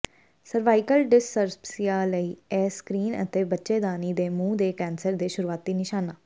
cervical ਡਿਸਸਰਪਸੀਆ ਲਈ ਇਹ ਸਕ੍ਰੀਨ ਅਤੇ ਬੱਚੇਦਾਨੀ ਦੇ ਮੂੰਹ ਦੇ ਕੈਂਸਰ ਦੇ ਸ਼ੁਰੂਆਤੀ ਨਿਸ਼ਾਨਾਂ